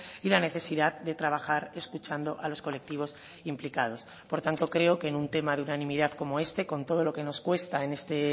y la necesidad de trabajar escuchando a los colectivos implicados por tanto creo que en un tema de unanimidad como este con todo lo que nos cuesta en este